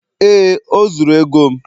ee oh, o zuru ego m